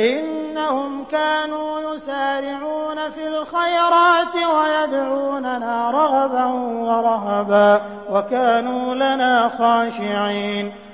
إِنَّهُمْ كَانُوا يُسَارِعُونَ فِي الْخَيْرَاتِ وَيَدْعُونَنَا رَغَبًا وَرَهَبًا ۖ وَكَانُوا لَنَا خَاشِعِينَ